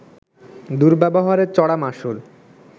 দুর্ব্যবহারের চড়া মাশুল